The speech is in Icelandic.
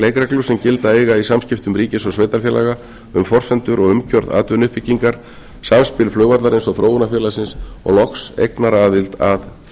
leikreglur sem gilda eiga í samskiptum ríkis og sveitarfélaga um forsendur og umgjörð atvinnuuppbyggingar samspil flugvallarins og þróunarfélagsins og loks eignaraðild að